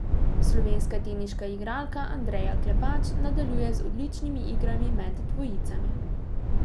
Slovenska teniška igralka Andreja Klepač nadaljuje z odličnimi igrami med dvojicami.